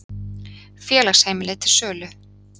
Félagsheimili til sölu